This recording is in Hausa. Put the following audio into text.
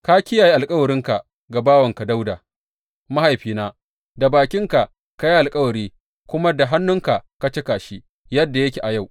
Ka kiyaye alkawarinka ga bawanka Dawuda mahaifina; da bakinka ka yi alkawari kuma da hannunka ka cika shi, yadda yake a yau.